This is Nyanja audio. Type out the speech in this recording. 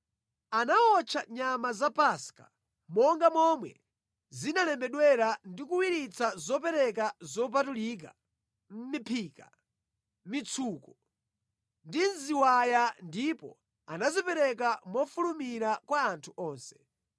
Anawotcha nyama za Paska monga momwe zinalembedwera ndi kuwiritsa zopereka zopatulika mʼmiphika, mʼmitsuko ndi mʼziwaya ndipo anazipereka mofulumira kwa anthu onse.